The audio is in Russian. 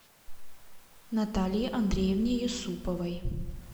наталье андреевне юсуповой